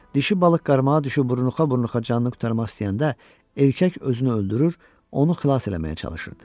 Dişi balıq qarmağa düşüb burunxa-burunxa canını qurtarmaq istəyəndə erkək özünü öldürür, onu xilas eləməyə çalışırdı.